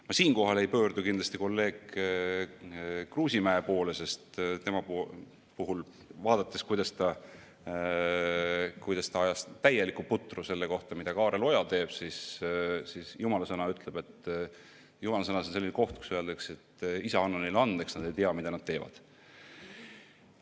Ma siinkohal ei pöördu kindlasti kolleeg Kruusimäe poole, sest vaadates, kuidas ta ajas täielikku putru selle kohta, mida Kaarel Oja teeb – jumalasõnas on selline koht, kus öeldakse, et Isa, anna neile andeks, nad ei tea, mida nad teevad.